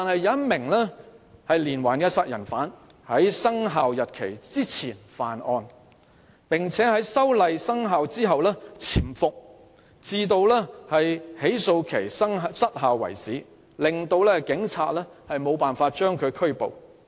一名連環殺人犯在修例生效日期前犯案，並在修例後匿藏至起訴期失效為止，令警察無法將其拘捕。